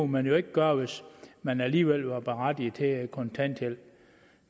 man jo ikke gøre hvis man alligevel var berettiget til kontanthjælp